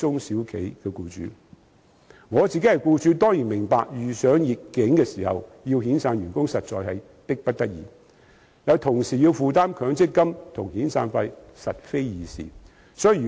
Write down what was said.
身為僱主，我當然明白遇上逆境時要遣散員工實在是迫不得已，但要同時負擔強積金和遣散費實非易事。